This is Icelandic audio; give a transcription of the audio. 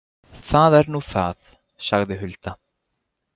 Það er nú það, sagði Hulda.